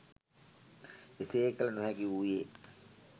එසේ කළ නොහැකි වූයේ